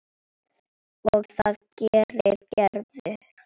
Og það gerir Gerður.